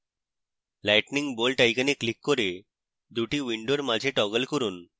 lightning bolt icon click করে দুটি windows মাঝে টগল করুন